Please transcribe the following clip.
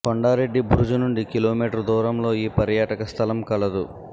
కొండా రెడ్డి బురుజు నుండి కిలోమీటర్ దూరంలో ఈ పర్యాటక స్థలం కలదు